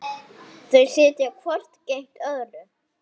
Þau sitja hvort gegnt öðru.